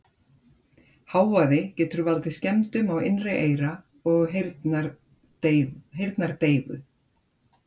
Hávaði getur valdið skemmdum á innra eyra og heyrnardeyfu.